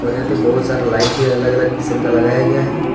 और यहां पर बहुत सारे लाइट भी अलग अलग किस्म का लगाया गया है।